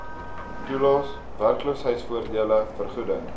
toelaes werkloosheidvoordele vergoeding